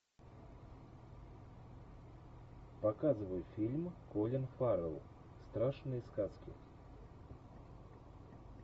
показывай фильм колин фаррелл страшные сказки